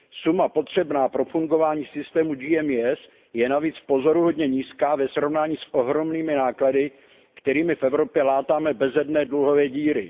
Suma potřebná pro fungování systému GMES je navíc pozoruhodně nízká ve srovnání s ohromnými náklady, kterými v Evropě látáme bezedné dluhové díry.